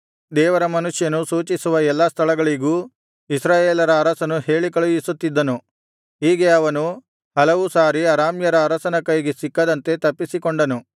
ದೇವರ ಮನುಷ್ಯನು ಸೂಚಿಸುವ ಎಲ್ಲಾ ಸ್ಥಳಗಳಿಗೂ ಇಸ್ರಾಯೇಲರ ಅರಸನು ಹೇಳಿ ಕಳುಹಿಸುತ್ತಿದ್ದನು ಹೀಗೆ ಅವನು ಹಲವು ಸಾರಿ ಅರಾಮ್ಯರ ಅರಸನ ಕೈಗೆ ಸಿಕ್ಕದಂತೆ ತಪ್ಪಿಸಿಕೊಂಡನು